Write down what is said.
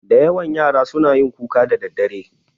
Da yawa yara suna yin kuka da daddare